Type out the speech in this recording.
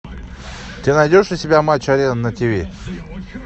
ты найдешь у себя матч арена на тв